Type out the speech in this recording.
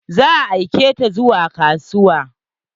Za a aike ta zuwa kasuwa.